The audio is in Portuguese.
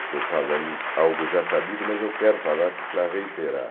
Estou falando algo já sabido, mas eu quero falar para reiterar.